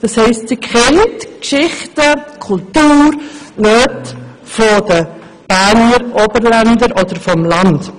Das heisst, sie kennt die Geschichten, die Kultur und die Nöte der Oberländer oder, allgemein gesagt, der Landbevölkerung.